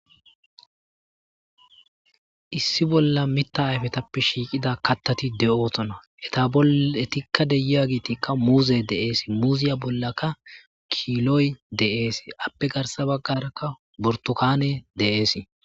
issi bolla mita ayfetappe shiiqida kattati de7ootona eta boetikka deyiya giitikka muuze deeesi muuziya bollakka kiloy de7ees appe garsa baggarakka bortokaane de7eesi